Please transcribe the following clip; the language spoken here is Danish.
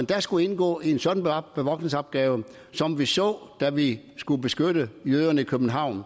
der skulle indgå i en sådan bevogtningsopgave som vi så da vi skulle beskytte jøderne i københavn